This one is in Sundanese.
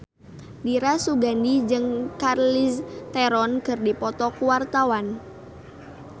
Dira Sugandi jeung Charlize Theron keur dipoto ku wartawan